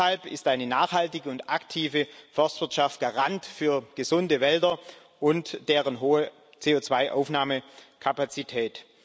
Deshalb ist eine nachhaltige und aktive Forstwirtschaft Garant für gesunde Wälder und deren hohe CO2 Aufnahmekapazität.